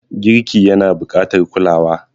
Girki yana buƙatar kulawa.